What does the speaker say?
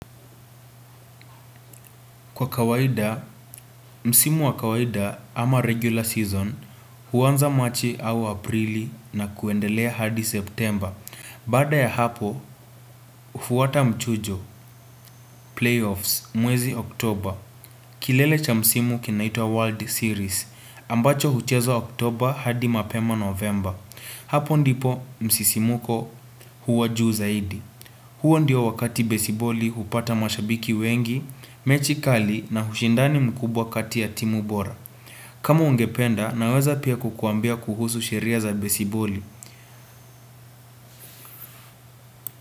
Kwa kawaida, msimu wa kawaida ama regular season, huanza machi au aprili na kuendelea hadi september. Baada ya hapo, ufuata mchujo, playoffs, mwezi oktoba. Kilele cha msimu kinaitwa World Series, ambacho huchezwa oktoba hadi mapema november. Hapo ndipo msisimuko huwa juu zaidi. Huo ndiyo wakati besiboli hupata mashabiki wengi, mechikali na hushindani mkubwa katia timu bora. Kama ungependa naweza pia kukuambia kuhusu sheria za besiboli.